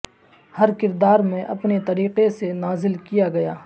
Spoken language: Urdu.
ہر کردار میں اپنے طریقے سے نازل کیا گیا